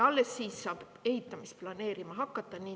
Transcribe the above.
Alles siis saab hakata ehitamist planeerima.